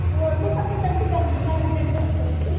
हो तू पण तिकडची तिकडचीच